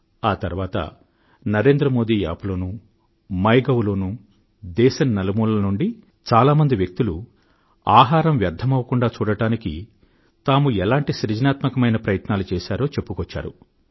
ఆ తర్వాత NarendraModiApp లోనూ మైగోవ్ లోనూ దేశం నలుమూలల నుండీ చాలా మంది వ్యక్తులు ఆహారం వ్యర్ధమవకుండా చూడడానికి తాము ఎలాంటి సృజనాత్మకమైన ప్రయత్నాలు చేసారో చెప్పుకొచ్చారు